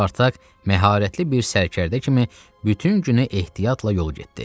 Spartak məharətli bir sərkərdə kimi bütün günü ehtiyatla yol getdi.